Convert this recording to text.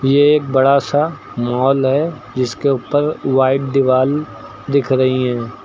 ये एक बड़ा सा मॉल है जिसके ऊपर वाइट दीवाल दिख रही है।